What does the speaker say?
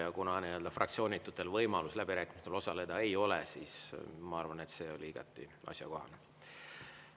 Aga kuna fraktsioonitutel võimalust läbirääkimistel osaleda ei ole, siis ma arvan, et see oli igati asjakohane.